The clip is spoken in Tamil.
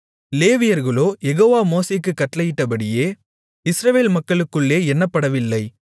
லேவியர்களோ யெகோவா மோசேக்குக் கட்டளையிட்டபடி இஸ்ரவேல் மக்களுக்குள்ளே எண்ணப்படவில்லை